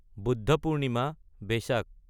Buddha Purnima